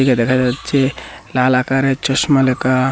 এখানে দেখা যাচ্ছে লাল আকারে চশমা লেখা।